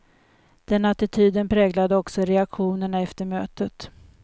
Den attityden präglade också reaktionerna efter mötet.